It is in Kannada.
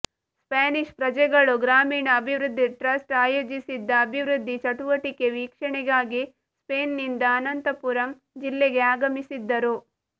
ಸ್ಪ್ಯಾನಿಶ್ ಪ್ರಜೆಗಳು ಗ್ರಾಮೀಣ ಅಭಿವೃದ್ಧಿ ಟ್ರಸ್ಟ್ ಆಯೋಜಿಸಿದ್ದ ಅಭಿವೃದ್ಧಿ ಚಟುವಟಿಕೆ ವೀಕ್ಷಣೆಗಾಗಿ ಸ್ಪೇನ್ ನಿಂದ ಅನಂತಪುರಂ ಜಿಲ್ಲೆಗೆ ಆಗಮಿಸಿದ್ದರು